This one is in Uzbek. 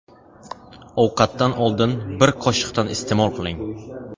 Ovqatdan oldin, bir qoshiqdan iste’mol qiling.